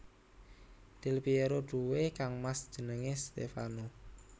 Del Pièro duwé kangmas jenengé Stèfano